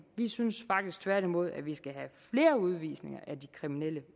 vi synes faktisk tværtimod at vi skal have flere udvisninger af de kriminelle